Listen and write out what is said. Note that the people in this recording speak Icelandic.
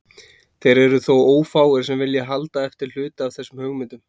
Þeir eru þó ófáir sem vilja halda eftir hluta af þessum hugmyndum.